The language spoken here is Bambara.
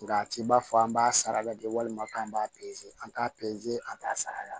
Nka a t'i b'a fɔ an b'a sara lajɛ walima k'an b'a an t'a an t'a sara